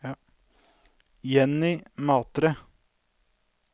Jenny Matre